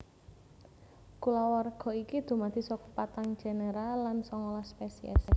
Kulawarga iki dumadi saka patang genera lan songolas spesiès